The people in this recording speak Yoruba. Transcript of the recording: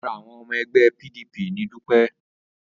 Ara awon omo egbe PDP ni Dupe